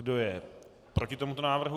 Kdo je proti tomuto návrhu?